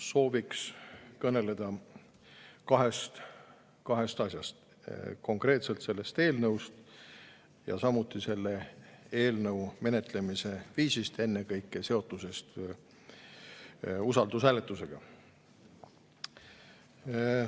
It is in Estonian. Sooviks kõneleda kahest asjast: konkreetselt sellest eelnõust ja samuti selle eelnõu menetlemise viisist, ennekõike seotusest usaldushääletusega.